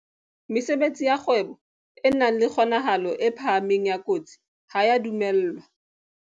Mesebetsi ya kgwebo e nang le kgonahalo e phahameng ya kotsi ha e a dumellwa.